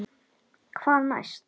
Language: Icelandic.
Hvað næst?